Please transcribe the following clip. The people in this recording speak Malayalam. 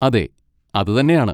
അതെ, അതുതന്നെയാണ്.